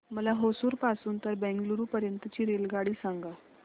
मला होसुर पासून तर बंगळुरू पर्यंत ची रेल्वेगाडी सांगा